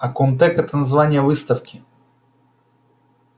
а комтек это название выставки